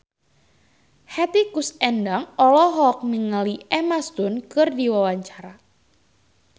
Hetty Koes Endang olohok ningali Emma Stone keur diwawancara